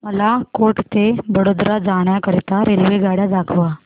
मला कोटा ते वडोदरा जाण्या करीता रेल्वेगाड्या दाखवा